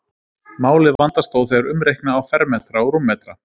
málið vandast þó þegar umreikna á fermetra og rúmmetra